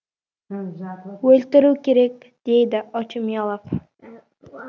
өлтіру керек дейді очумелов